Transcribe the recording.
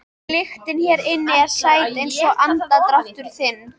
Lyktin hér inni er sæt einsog andardráttur þinn.